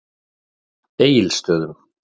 Egilsstöðum